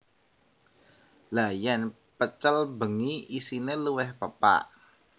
Lha yen pecel bengi isine luwih pepak